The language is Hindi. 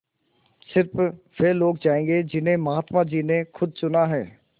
स़िर्फ वे लोग जायेंगे जिन्हें महात्मा जी ने खुद चुना है